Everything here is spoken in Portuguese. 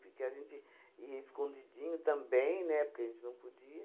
Porque a gente ia escondidinho também, né, porque a gente não podia.